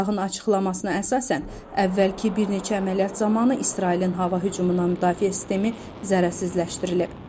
Sepahın açıqlamasına əsasən əvvəlki bir neçə əməliyyat zamanı İsrailin hava hücumundan müdafiə sistemi zərərsizləşdirilib.